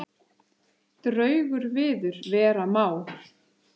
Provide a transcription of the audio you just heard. Draugur viður vera má.